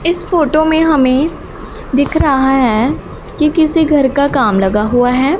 इस फोटो हमें दिख रहा है कि किसी घर का काम लगा हुआ है।